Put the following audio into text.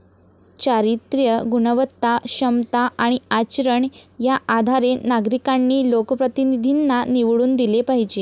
चारित्र्य, गुणवत्ता, क्षमता आणि आचरण या आधारे नागरिकांनी लोकप्रतिनिधींना निवडून दिले पाहिजे.